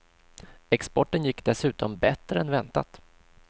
Exporten gick dessutom bättre än väntat.